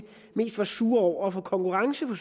mest var sure over at få konkurrence på